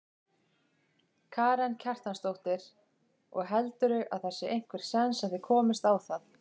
Karen Kjartansdóttir: Og heldurðu að það sé einhver séns að þið komist á það?